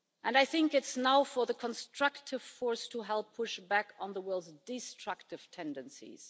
I think it is now for the constructive force to help push back on the world's destructive tendencies.